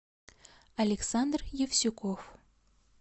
александр евсюков